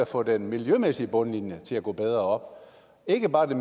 få den miljømæssige bundlinje til at gå bedre op ikke bare